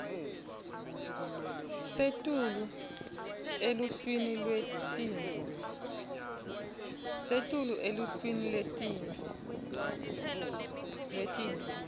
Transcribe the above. setulu eluhlwini lwetintfo